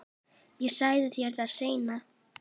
Ég segi þér það seinna.